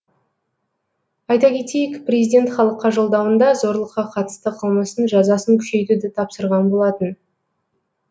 айта кетейік президент халыққа жолдауында зорлыққа қатысты қылмыстың жазасын күшейтуді тапсырған болатын